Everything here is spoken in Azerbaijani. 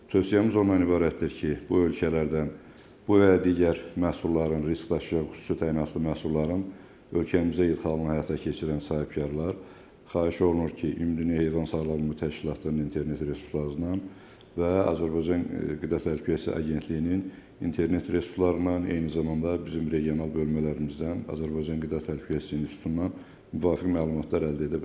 Tövsiyəmiz ondan ibarətdir ki, bu ölkələrdən bu və ya digər məhsulların, risk daşıyan xüsusi təyinatlı məhsulların ölkəmizə ixalını həyata keçirən sahibkarlar xahiş olunur ki, Ümumdünya Heyvan Sağlamlığı Təşkilatının internet resurslarından və Azərbaycan Qida Təhlükəsizliyi Agentliyinin internet resurslarından, eyni zamanda bizim regional bölmələrimizdən, Azərbaycan Qida Təhlükəsizliyi İnstitutundan müvafiq məlumatlar əldə edə bilərlər.